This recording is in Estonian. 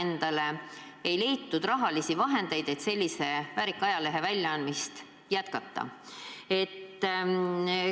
Nüüd ei leitud raha, et sellise väärika ajalehe väljaandmist jätkata.